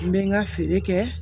N bɛ n ka feere kɛ